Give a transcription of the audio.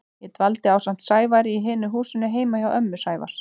Ég dvaldi ásamt Sævari í hinu húsinu heima hjá ömmu Sævars.